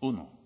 uno